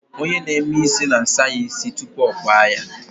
Onye na-eme isi na-asa ya isi tupu ọ kpaa ya